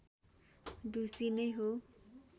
ढुसी नै हो